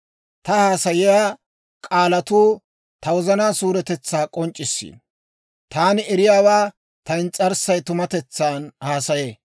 Ta haasayiyaa k'aalatuu ta wozanaa suuretetsaa k'onc'c'issiino; taani eriyaawaa ta ins's'arssay tumatetsan haasayee.